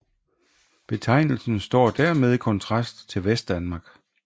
Betegnelsen står dermed i kontrast til Vestdanmark